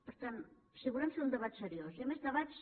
per tant si volem fer un debat seriós hi ha més debats